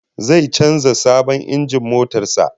Zai canza sabon injin motar sa